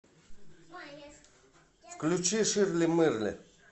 включи ширли мырли